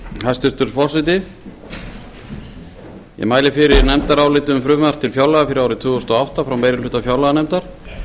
hæstvirtur forseti ég mæli fyrir nefndaráliti um frumvarp til fjárlaga fyrir árið tvö þúsund og átta frá meiri hluta fjárlaganefndar